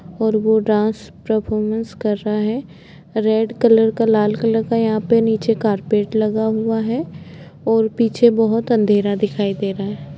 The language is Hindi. और वह डांस परफॉर्मेंस कर रहा है रेड कलर का लाल कलर का यहां पे नीचे कारपेट लगा हुआ है और पीछे बहुत अंधेरा दिखाई दे रहा है।